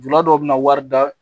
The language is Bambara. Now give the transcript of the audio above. Jula dɔw be na wari da